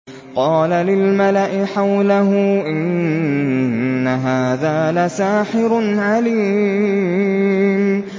قَالَ لِلْمَلَإِ حَوْلَهُ إِنَّ هَٰذَا لَسَاحِرٌ عَلِيمٌ